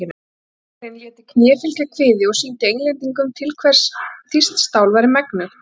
Að þýski herinn léti kné fylgja kviði og sýndi Englendingum hvers þýskt stál væri megnugt.